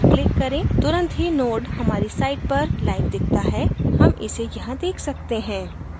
तुरंत ही node हमारी site पर live दिखता है हम इसे यहाँ देख सकते हैं